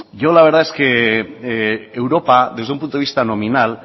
yo la verdad es que europa desde un punto de vista nominal